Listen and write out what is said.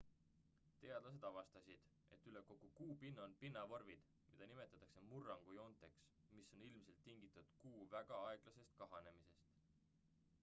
teadlased avastasid et üle kogu kuu pinna on pinnavormid mida nimetatakse murrangujoonteks mis on ilmselt tingitud kuu väga aeglasest kahanemisest